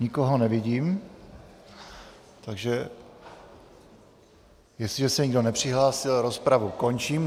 Nikoho nevidím, takže jestliže se nikdo nepřihlásí, rozpravu končím.